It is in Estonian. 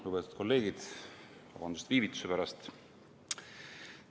Lugupeetud kolleegid, vabandust viivituse pärast!